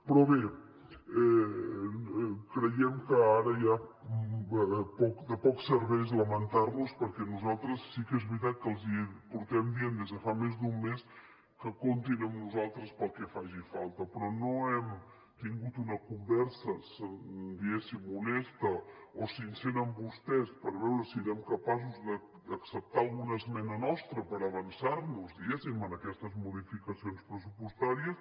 però bé creiem que ara ja de poc serveix lamentar nos perquè nosaltres sí que és veritat que els estem dient des de fa més d’un mes que comptin amb nosaltres per al que faci falta però no hem tingut una conversa diguéssim honesta o sincera amb vostès per veure si eren capaços d’acceptar alguna esmena nostra per avançar nos a aquestes modificacions pressupostàries